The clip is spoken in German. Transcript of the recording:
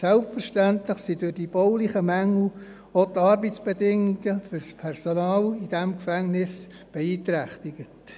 Selbstverständlich sind durch die baulichen Mängel auch die Arbeitsbedingungen für das Personal in diesem Gefängnis beeinträchtigt.